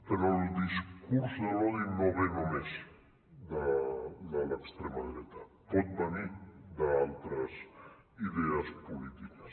però el discurs de l’odi no ve només de l’extrema dreta pot venir d’altres idees polítiques